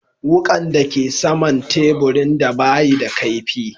Wukan da ke sama'n taburin ba yi da kaifi.